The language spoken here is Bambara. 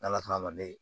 N'ala sɔnna a ma ne